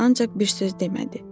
Ancaq bir söz demədi.